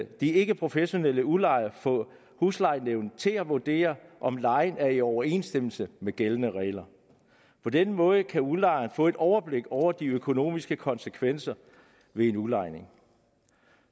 de ikkeprofessionelle udlejere få huslejenævnet til at vurdere om lejen er i overensstemmelse med gældende regler på den måde kan udlejeren få et overblik over de økonomiske konsekvenser ved en udlejning